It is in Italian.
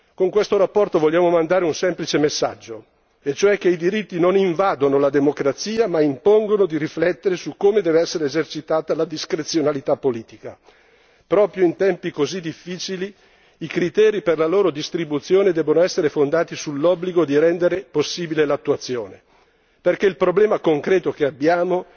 Con questa relazione vogliamo mandare un semplice messaggio e cioè che i diritti non invadono la democrazia ma impongono di riflettere come dev'essere esercitata la discrezionalità politica proprio in tempi così difficili i criteri per la loro distribuzione devono essere fondati sull'obbligo di rendere possibile l'attuazione, perché il problema concreto che abbiamo